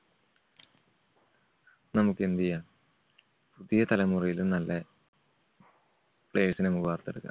നമ്മുക്ക് എന്തു ചെയ്യാം? പുതിയ തലമുറയിലും നല്ല players നെ നമ്മുക്ക് വാർത്തെടുക്കാം.